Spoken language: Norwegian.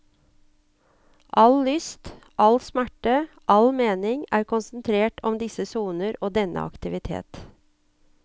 All lyst, all smerte, all mening er konsentrert om disse soner og denne aktivitet.